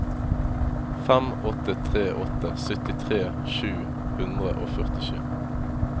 fem åtte tre åtte syttitre sju hundre og førtisju